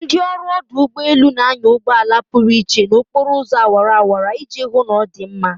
Ndị ọrụ ọdụ ụgbọ elu na-anya ụgbọ ala pụrụ iche na okporo ụzọ awara awara iji hụ na ọ dị mma